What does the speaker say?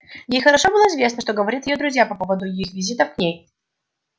ей хорошо было известно что говорят её друзья по поводу его визитов к ней